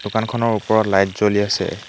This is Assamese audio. দোকানখনৰ ওপৰত লাইট জ্বলি আছে।